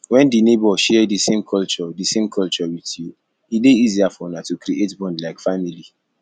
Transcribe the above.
when di neighbour share di same culture di same culture with you e dey easier for una to creat bond like family